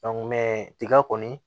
tiga kɔni